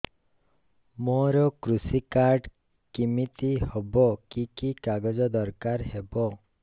ମୋର କୃଷି କାର୍ଡ କିମିତି ହବ କି କି କାଗଜ ଦରକାର ହବ